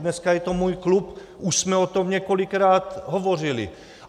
Dneska je to můj klub, už jsme o tom několikrát hovořili.